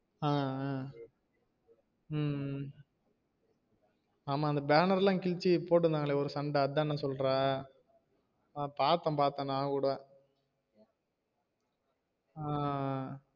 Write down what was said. ஆஹ் ஆஹ் உம் உம் ஆமா அந்த பேனர் எல்லாம் கிழிச்சு போட்டுருந்தங்கள ஒரு சண்ட அத தான சொல்றா பாத்தேன் பாத்தேன் நானும் கூட ஆஹ்